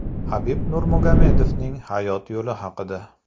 Habib Nurmagomedovning hayot yo‘li haqida.